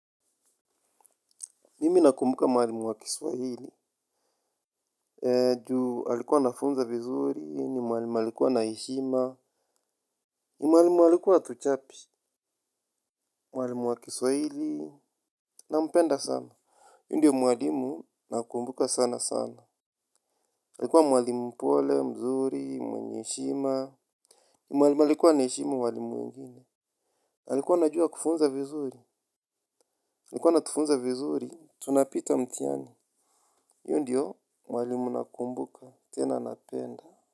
Mimi nakumbuka mwalimu wa kiswahili Ju alikuwa anafunza vizuri. Ni mwalimu alikuwa na heshima. Ni mwalimu alikuwa hatuchapi. Mwalimu wa kiswahili. Nampenda sana. Yeye ndio mwalimu nakumbuka sana sana alikuwa mwalimu pole, mzuri, mwenye heshima. Ni mwalimu alikuwa anaheshimu walimu wengine alikuwa anajua kufunza vizuri alikuwa anatufunza vizuri. Tunapita mtihani. Yeye ndio mwalimu nakumbuka. Tena napenda.